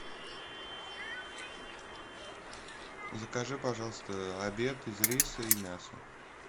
закажи пожалуйста обед из риса и мяса